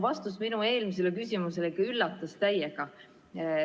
Vastus minu eelmisele küsimusele ikka üllatas täiega.